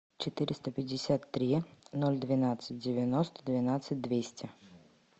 четыреста пятьдесят три ноль двенадцать девяносто двенадцать двести